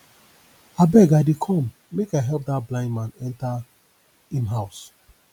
abeg i dey come make i help dat blind man enter im house